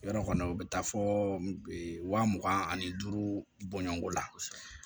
Yɔrɔ kɔni u bɛ taa fɔ wa mugan ani duuru bɔɲɔgɔnko la kosɛbɛ